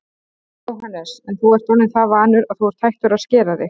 Jóhannes: En þú ert orðinn það vanur að þú ert hættur að skera þig?